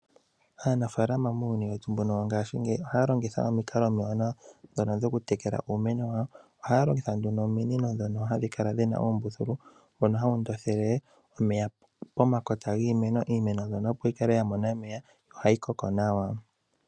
Aanafalama muuyuni weru mbuno wongashingeyi ohaa longitha omikala omiwanawa dhono dhoku tekela uumeno wawo ohaa longitha nduno ominino dhoka hadhi kala dhina uumbuthulu mbono hawu ndondele omeya pomakota ,iimeno mbyono opo yi kale ya mona omeya nohayi koko nawa.